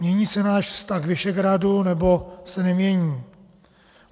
Mění se náš vztah k Visegrádu, nebo se nemění?